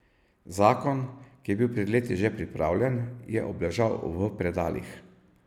Zakon, ki je bil pred leti že pripravljen, je obležal v predalih.